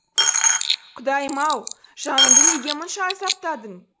құдайым ай жанымды неге мұнша азаптадың